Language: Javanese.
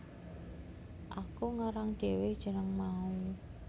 Aku ngarang dhewe jeneng mau